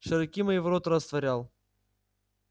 широки мои ворота растворял